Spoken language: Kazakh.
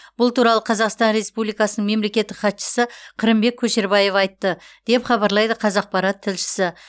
бұл туралы қазақстан республикасының мемлекеттік хатшысы қырымбек көшербаев айтты деп хабарлайды қазақпарат тілшісі